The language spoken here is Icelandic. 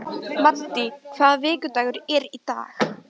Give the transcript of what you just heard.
Maddý, hvaða vikudagur er í dag?